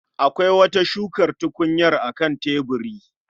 Akwai wata shukar tukunyar a kan tebiri